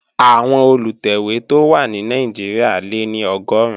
Àwọn Olùtẹ̀wé tó wà ní Nàìjíríà lé ní Ọgọ́run